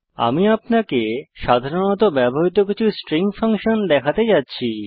আমি আপনাকে সাধারণত ব্যবহৃত কিছু স্ট্রিং ফাংশন দেখাতে যাচ্ছি